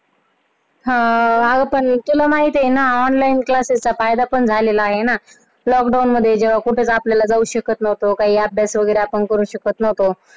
हा पण तुला माहितीये ना online classes हा फायदा पण झालेला आहे. lockdown मध्ये जात येत नव्हतं आपल्याला जाऊ शकत नव्हतो, काही अभ्यास वगैरे करू शकत नव्हतो.